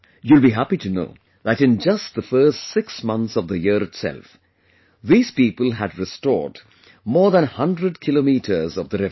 You will be happy to know that in just the first six months of the year itself, these people had restored more than a 100 kilometres of the river